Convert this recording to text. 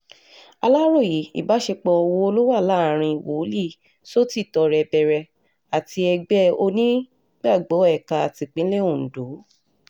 aláròye ìbáṣepọ̀ wo ló wà láàrin wòlíì sọ́tìtọrẹbẹrẹ àti ẹgbẹ́ onígbàgbọ́ ẹ̀ka tipińlẹ̀ ondo